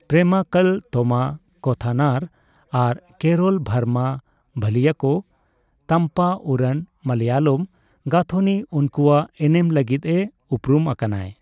ᱯᱮᱨᱮᱢᱟᱠᱠᱟᱞ ᱛᱳᱢᱟ ᱠᱚᱛᱷᱟᱱᱟᱨ ᱟᱨ ᱠᱮᱨᱚᱞ ᱵᱷᱟᱨᱢᱟ ᱵᱷᱟᱞᱤᱭᱟᱠᱳ ᱛᱟᱢᱯᱟᱩᱨᱟᱱ ᱢᱟᱞᱚᱭᱟᱞᱚᱢ ᱜᱟᱹᱛᱷᱚᱱᱤ ᱩᱱᱠᱚᱣᱟᱜ ᱮᱱᱮᱢ ᱞᱟᱹᱜᱤᱫᱼᱮ ᱩᱯᱨᱩᱢ ᱟᱠᱟᱱᱟᱭ᱾